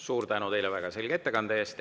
Suur tänu teile väga selge ettekande eest!